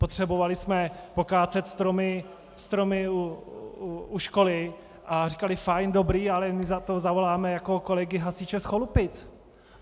Potřebovali jsme pokácet stromy u školy a říkali: Fajn, dobrý, ale my na to zavoláme kolegy hasiče z Cholupic.